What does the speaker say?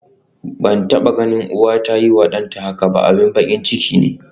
Ban taba ganin uwa ta yiwa danta haka ba, abin bakin ciki ne.